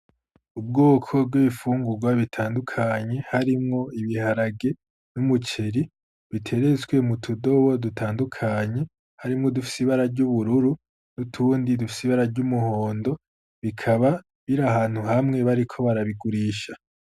Ubwoko bw'ibifungurwa bitandukanye , harimwo: ibiharage ,n'umuceri , biteretswe mutudobo dutandukanye ,harimwo udufise ibara ry'ubururu, n'utundi dufise ibara ry'umuhondo ,bikaba biri ahantu hamwe bariko barabigurisha.